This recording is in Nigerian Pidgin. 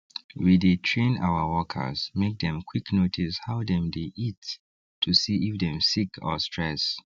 we dey train our workers make them quick notice how dem dey eat to see if dem sick or stress